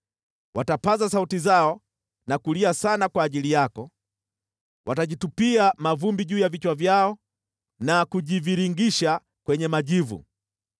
Watapaza sauti zao na kulia sana kwa ajili yako; watajitupia mavumbi juu ya vichwa vyao na kujivingirisha kwenye majivu.